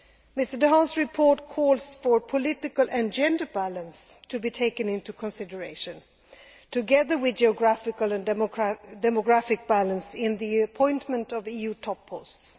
Mr Dehaene's report calls for political and gender balance to be taken into consideration, together with geographical and demographic balance, in the appointment of EU top posts.